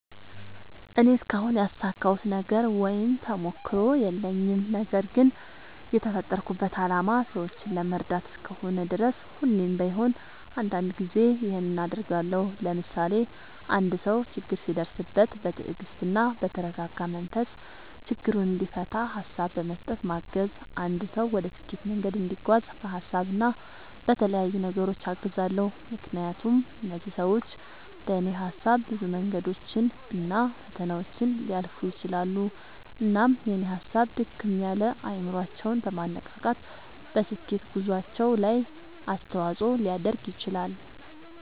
እኔ እስካሁን ያሳካሁት ነገር ወይም ተሞክሮ የለኝም። ነገርግን የተፈጠርኩበት አላማ ሰዎችን ለመርዳት እስከሆነ ድረስ ሁሌም ባይሆን አንዳንድ ጊዜ ይኸንን አደርጋለሁ። ለምሳሌ፦ አንድ ሰው ችግር ሲደርስበት በትግስትና በተረጋጋ መንፈስ ችግሩን እንዲፈታ ሀሳብ በመስጠት ማገዝ፣ አንድ ሰው ወደ ስኬት መንገድ እንዲጓዝ በሀሳብ እና በተለያዩ ነገሮች አግዛለሁ። ምክንያቱም እነዚህ ሰዎች በኔ ሀሳብ ብዙ መንገዶችን እና ፈተናዎችን ሊያልፉ ይችላሉ። እናም የኔ ሀሳብ ድክም ያለ አይምሮአቸውን በማነቃቃት በስኬት ጉዞአቸው ላይ አስተዋጽኦ ሊያደርግ ይችላል።